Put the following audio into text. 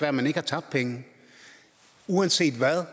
at man ikke har tabt penge uanset hvad